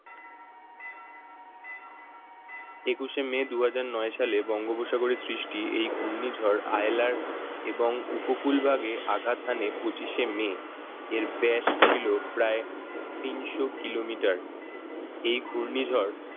একুশে মে দুই হাজার নয় সালে বঙ্গোপসাগরে সৃষ্টি এই ঘূর্ণিঝড় আয়লার এবং উপকূল ভাগে আঘাত হানে পঁচিশে মে এর ব্যাস ছিল প্রায় তিনশো kilometer এই ঘূর্ণিঝড়